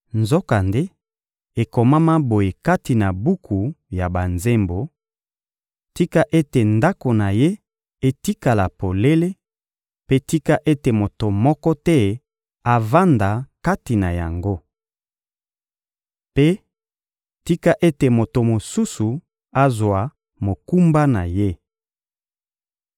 Nzokande, ekomama boye kati na buku ya banzembo: «Tika ete ndako na ye etikala polele, mpe tika ete moto moko te avanda kati na yango!» Mpe: «Tika ete moto mosusu azwa mokumba na ye!»